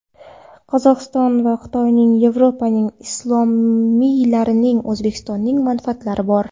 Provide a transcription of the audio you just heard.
Qozog‘istonda Xitoyning, Yevropaning, islomiylarning, O‘zbekistonning manfaatlari bor.